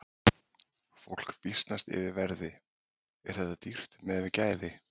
Fólk býsnast yfir verði, er þetta dýrt miðað við gæði?